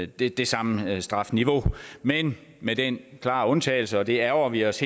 det det samme strafniveau men med den klare undtagelse og det ærgrer vi os